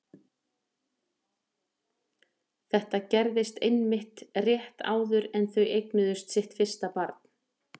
Þetta gerðist einmitt rétt áður en þau eignuðust sitt fyrsta barn.